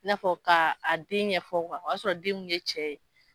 I n'a fɔ k'a den ɲɛ fɔ kuwa o y'a sɔrɔ den kun tɛ cɛ ye.